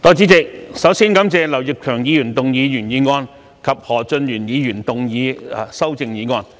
代理主席，首先感謝劉業強議員動議原議案及何俊賢議員動議修正案。